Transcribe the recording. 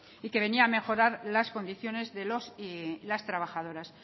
y que venía a mejorar las condiciones de los y las trabajadoras